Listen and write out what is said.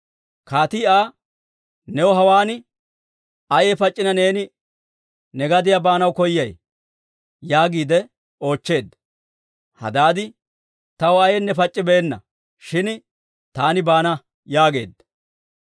Kaatii Aa, «New hawaan ayay pac'c'inee neeni ne gadiyaa baanaw koyiyaawe?» yaagiide oochcheedda. Hadaadi, «Taw ayaynne pac'c'ibeenna; shin taani baana» yaageedda.